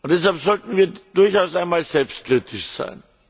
Deshalb sollten wir durchaus einmal selbstkritisch sein.